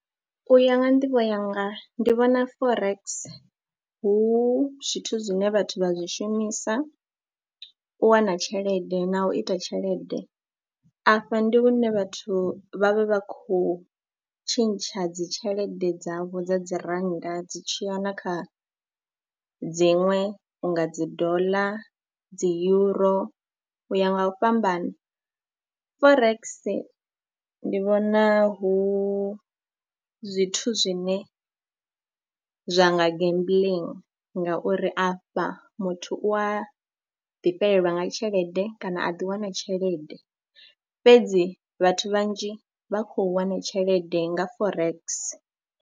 U ya nga nḓivho yanga ndi vhona Forex hu zwithu zwine vhathu vha zwi shumisa u wana tshelede na u ita tshelede. Afha ndi hune vhathu vha vha vha khou tshintsha dzi tshelede dzavho dza dzi rannda dzi tsh iya na kha dziṅwe u nga dzi doḽa, dzi yuro u ya nga u fhambana. Forex ndi vhona hu zwithu zwine zwa nga gambling ngauri afha muthu u a ḓifhelelwa nga tshelede kana a ḓiwana tshelede, fhedzi vhathu vhanzhi vha khou wana tshelede nga Forex.